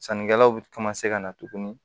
Sannikɛlaw bɛ ka na tuguni